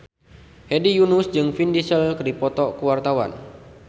Hedi Yunus jeung Vin Diesel keur dipoto ku wartawan